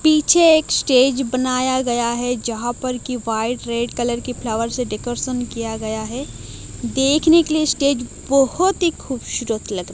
पीछे एक स्टेज बनाया गया है जहां पर की व्हाइट रेड कलर की फ्लावर से डेकोरेट किया गया है देखने के लिए स्टेज बहोत ही खूबसूरत लग--